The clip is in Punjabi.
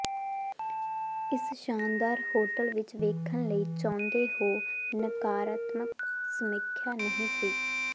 ਇਸ ਸ਼ਾਨਦਾਰ ਹੋਟਲ ਵਿਚ ਵੇਖਣ ਲਈ ਚਾਹੁੰਦੇ ਹੋ ਨਕਾਰਾਤਮਕ ਸਮੀਖਿਆ ਨਹੀ ਸੀ